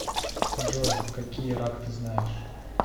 джой какие рак ты знаешь